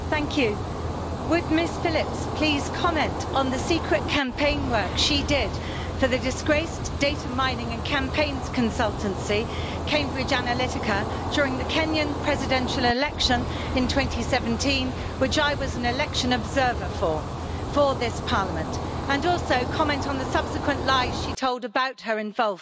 Would Ms Phillips please comment on the secret campaign work she did for the disgraced data mining and campaigns consultancy Cambridge Analytica during the Kenyan presidential election in 2017, for which I was an election observer for this Parliament, and also comment on the subsequent lies she told about her involvement in that?